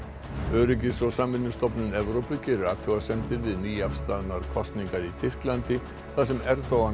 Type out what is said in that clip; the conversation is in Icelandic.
öryggis og samvinnustofnun Evrópu gerir athugasemdir við nýafstaðnar kosningar í Tyrklandi þar sem Erdogan